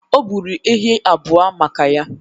O gburu ehi abụọ maka ya.